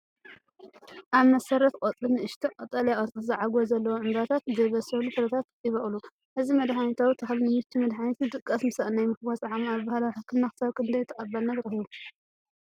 ኣብ መሰረት ቆጽሊ ንኣሽቱ ቀጠልያ ቅርጺ ዛዕጎል ዘለዎም ዕምባባታትን ዘይበሰሉ ፍረታትን ይበቁሉ። እዚ መድሃኒታዊ ተኽሊ ንምቺ መድሓኒትን ድቃስ ምስኣን ናይ ምፍዋስ ዓቕሙ ኣብ ባህላዊ ሕክምና ክሳብ ክንደይ ተቐባልነት ረኺቡ?